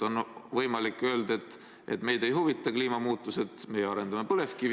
On võimalik öelda, et meid ei huvita kliimamuutused, meie arendame põlevkivi ...